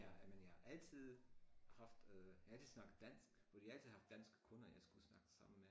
Ja ej men jeg altid haft øh jeg har altid snakket dansk fordi jeg har atid haft danske kunder jeg skulle snakke sammen med